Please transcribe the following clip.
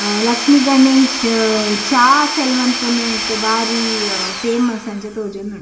ಲಕ್ಷ್ಮಿಗಣೇಶ್‌ ಚಾ ಸೆಲ್ಲ್‌ ಮಾಲ್ಪುನೇಟ್‌ ಬಾರೀ ಫೇಮಸ್‌ ಅಂಚ ತೋಜೋಂದುಂಡು.